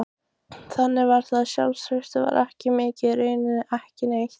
Þannig var það, sjálfstraustið var ekki mikið, raunar ekki neitt.